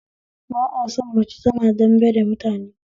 Ba a son mace tana dambe da mutane